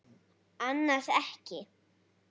Annars ekki.